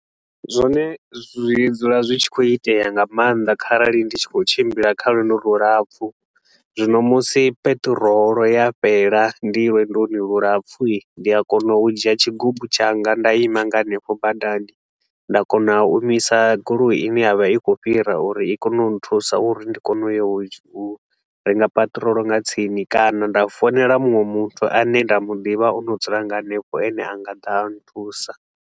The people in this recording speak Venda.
Zwone zwi dzula zwi tshi khou itea nga maanḓa kharali ndi tshi khou tshimbila kha lwendo lulapfu. Zwino musi peṱirolo ya fhela ndi lwendoni lulapfu, ndi a kona u dzhia tshigubu tshanga nda ima nga hanefho badani, nda kona u imisa goloi i ne ya vha i khou fhira uri i kone u nthusa uri ndi kone u ya u renga peṱirolo nga tsini kana nda founela muṅwe muthu a ne nda mu ḓivha o no dzula nga hanefho a ne a nga ḓa a nthusa.